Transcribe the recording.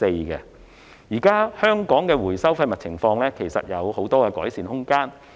現時，香港的廢物回收情況仍有很大改善空間。